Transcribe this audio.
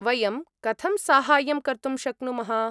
वयं कथं साहाय्यं कर्तुं शक्नुमः?